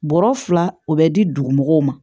Bɔrɔ fila o bɛ di dugu mɔgɔw ma